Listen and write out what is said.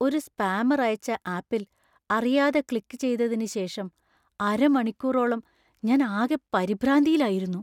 ഒരു സ്പാമർ അയച്ച ആപ്പിൽ അറിയാതെ ക്ലിക്ക് ചെയ്തതിന് ശേഷം അരമണിക്കൂറോളം ഞാൻ ആകെ പരിഭ്രാന്തിയിലായിരുന്നു.